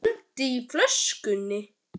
Er andi í flöskunni?